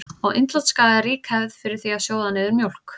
Á Indlandsskaga er rík hefð er fyrir því að sjóða niður mjólk.